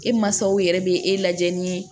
E mansaw yɛrɛ bɛ e lajɛ ni